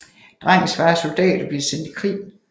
Drengens far er soldat og bliver sendt i krig